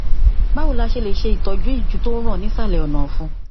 báwo ni a ṣe lè ṣe ìtọjú ìju tó ń ràn ní ìsàlẹ ọnàọfun